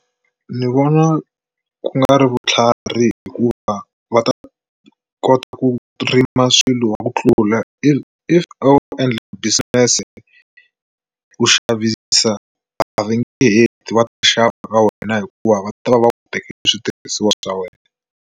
Ni vona ku nga ri vutlhari hikuva va ta kota ku rima swilo ku tlula if if a wu endla business ku xavisa a va nge heti va xava ka wena hikuva va ta va va ku tekele switirhisiwa swa wena.